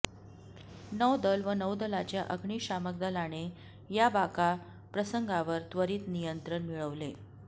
नौदल व नौदलाच्या अग्निशामक दलाने या बाका प्रसंगावर त्वरित नियंत्रण मिळवले